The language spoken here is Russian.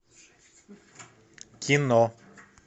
кино